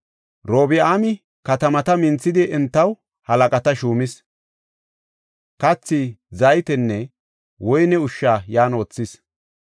Robi7aami katamata minthidi entaw halaqata shuumis; kathi, zaytenne woyne ushsha yan wothis.